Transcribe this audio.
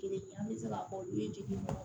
Kelen an bɛ se ka fɔ olu ye degun